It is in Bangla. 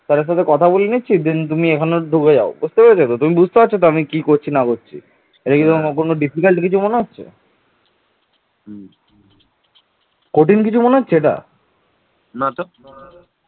তিনি দক্ষিণ ভারতের কলিঙ্গ ও অশ্মক এ রাজ্য দুটো জয় করেছিলেন